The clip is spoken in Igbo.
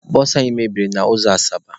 Bụsụ anyị mebiri n'ụzọ Asaba.